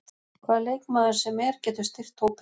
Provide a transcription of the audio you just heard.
Hvaða leikmaður sem er getur styrkt hópinn.